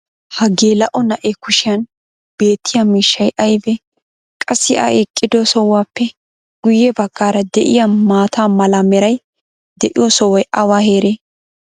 ha geela'o na'ee kushiyan beettiya miishshay aybee? qassi a eqido sohuwaappe guye bagaara de'iyaa maata mala meray de'iyo sohoy awa heeree?